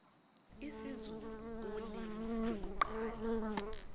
isizulu ulimi lokuqala